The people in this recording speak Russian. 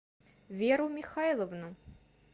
веру михайловну